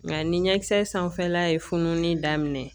Nka ni ɲɛkisɛ sanfɛla ye fununeni daminɛ